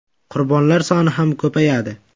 Qurbonlar soni ham ko‘payadi.